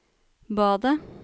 badet